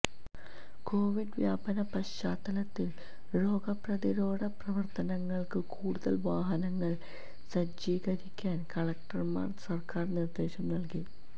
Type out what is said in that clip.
Covid വ്യാപന പശ്ചാത്തലത്തിൽ രോഗപ്രതിരോധപ്രവർത്തനങ്ങൾക്ക് കൂടുതൽ വാഹനങ്ങൾ സജ്ജീകരിക്കാൻ കളക്ടർമാർക്ക് സർക്കാർ നിർദേശം നൽകി